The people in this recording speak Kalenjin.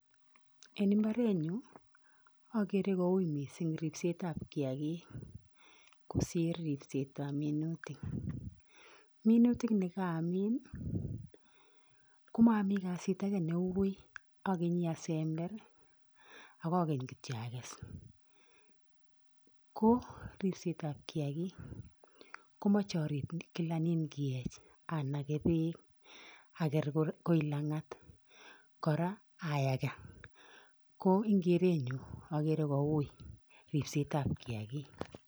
En imbarenyun oker koui missing ripset ab kiyakik kosir ripset ab minutik munutik nda kamin komomii kasit ake neui ekenyi asember ak akeny kityok akes, ko ripset ab kiyakik komoche arip kila inkiyech anake peek aker kor kait langat koraa ayakaa ko en kerenyun okere koui ripset ab kiyakik.